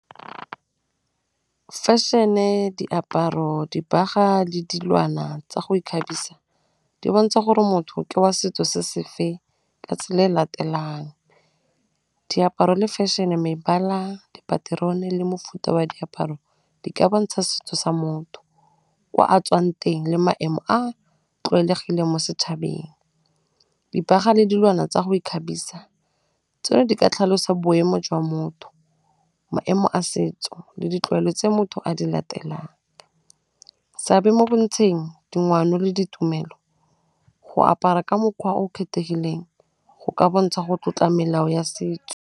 Fashion-e, diaparo, dibaga, le dilwana tsa go ikgabisa di bontsha gore motho ke wa setso se se feng ka tsela e latelang, diaparo le fashion-e mebala, dipaterone, le mofuta wa diaparo di ka bontsha setso sa motho, kwa a tswang teng le maemo a a tlwaelegileng mo setšhabeng. Dibaga le dilwana tsa go ikgabisa tsone di ka tlhalosa boemo jwa motho, maemo a setso, le ditlwaelo tse motho a di latelang. Seabe mo bontsheng , le ditumelo, go apara ka mokgwa o kgethegileng go ka bontsha go tlotla melao ya setso.